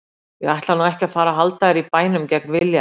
Ég ætla nú ekki að fara að halda þér í bænum gegn vilja þínum.